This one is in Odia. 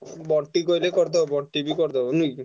ବଣ୍ଟି କହିଲେ କରିଦବ ବଣ୍ଟି ବି କରିଦବ ନୁହେଁ କି?